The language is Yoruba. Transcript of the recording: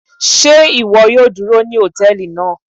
Ṣe iwọ yoo duro ni hòtẹ́ẹ̀lì naa?